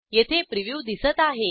येथे प्रिव्ह्यू दिसत आहे